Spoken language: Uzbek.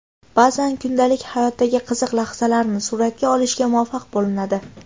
Ba’zan kundalik hayotdagi qiziq lahzalarni suratga olishga muvaffaq bo‘linadi.